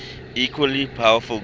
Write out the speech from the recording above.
equally powerful gods